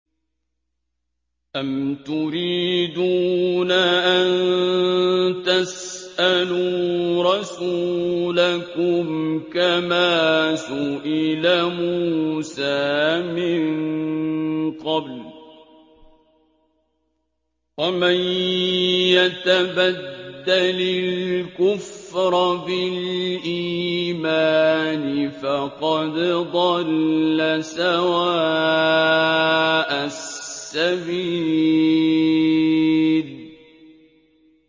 أَمْ تُرِيدُونَ أَن تَسْأَلُوا رَسُولَكُمْ كَمَا سُئِلَ مُوسَىٰ مِن قَبْلُ ۗ وَمَن يَتَبَدَّلِ الْكُفْرَ بِالْإِيمَانِ فَقَدْ ضَلَّ سَوَاءَ السَّبِيلِ